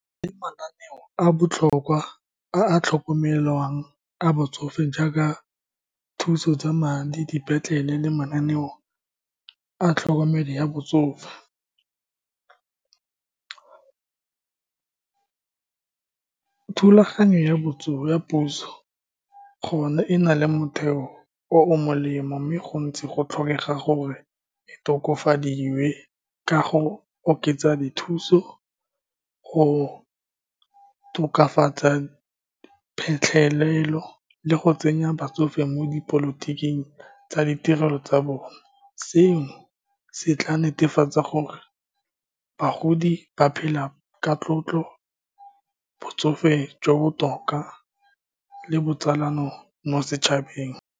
Mananeo a botlhokwa a a tlhokomelwang a batsofe jaaka thuso tsa madi, dipetlele, le mananeo a tlhokomelo ya botsofe. Thulaganyo ya ya puso gone e na le motheo o o molemo, mme go ntse go tlhokega gore e tokafadiwe kago oketsa dithuso, go tokafatsa phitlhelelo, le go tsenya batsofe mo dipolotiking tsa ditirelo tsa bone. Seno se tla netefatsa gore bagodi ba phela ka tlotlo, botsofe jo bo botoka, le botsalano mo setšhabeng.